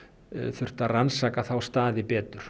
þurft að rannsaka þá staði betur